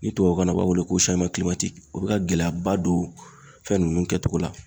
Ni tubabukan na u b'a wele ko o bɛ ka gɛlɛyaba don fɛn ninnu kɛcogo la.